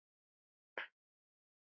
Þulur: Hve mikla peninga?